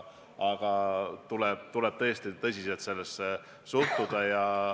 Aga tuleb tõesti tõsiselt sellesse suhtuda.